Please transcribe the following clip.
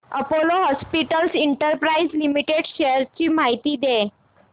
Apollo hospitals enterprise limited shares ची माहिती द्या